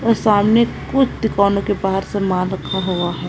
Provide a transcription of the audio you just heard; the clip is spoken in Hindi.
और सामने कुत कुछ दुकानों के बाहर समान रखा हुआ है।